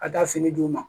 Ka taa fini d'u ma